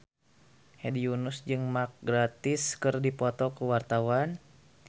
Hedi Yunus jeung Mark Gatiss keur dipoto ku wartawan